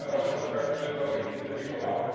Mówimy o środkach budżetowych im dedykowanych.